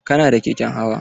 Kana da keken hawa?